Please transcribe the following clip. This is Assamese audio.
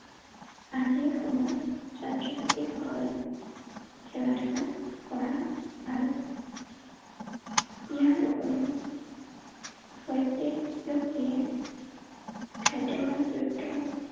আজিৰ সময়ত ছাত্ৰ ছাত্ৰীসকলে খেলা ধূলা কৰা ভাল। ইয়াৰ উপৰিও প্ৰত্যেক ব্যক্তিয়ে খাদ্য যুক্ত